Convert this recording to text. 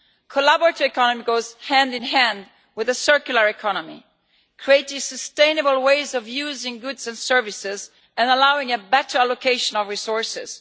The collaborative economy goes hand-in-hand with the circular economy, creating sustainable ways of using goods and services and allowing a better allocation of resources.